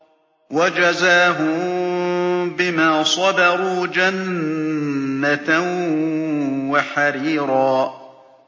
وَجَزَاهُم بِمَا صَبَرُوا جَنَّةً وَحَرِيرًا